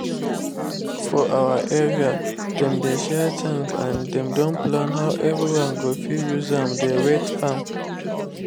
for our area dem dey share tank and dem don plan how everyone go fit use am dey wet farm